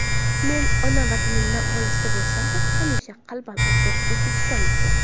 Men ona Vatanimdan olisda bo‘lsam-da, hamisha qalban o‘zbekistonlikman.